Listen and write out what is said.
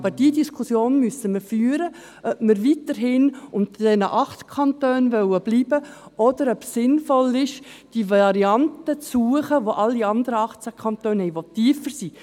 Aber die Diskussion, ob wir weiterhin unter diesen 8 Kantonen bleiben wollen, müssen wir führen, oder ob es sinnvoll ist, die Variante zu suchen, welche alle anderen 18 Kantone haben, die tiefer sind.